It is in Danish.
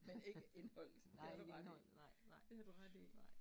Men ikke indholdet, det har du ret i, det har du ret i